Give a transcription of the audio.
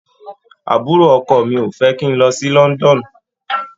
Àbúrò ọkọ mi ò fẹ́ kí n lọ sí London.